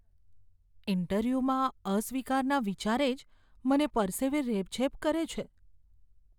ઈન્ટરવ્યૂમાં અસ્વીકારના વિચારે જ મને પરસેવે રેબઝેબ કરે છે.